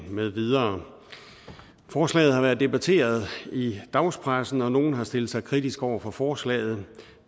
med videre forslaget har været debatteret i dagspressen og nogle har stillet sig kritiske over for forslaget